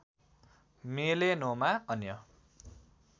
melanoma अन्य